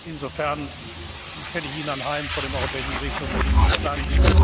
Insofern stelle ich Ihnen anheim, vor dem Europäischen Gerichtshof dagegen zu klagen.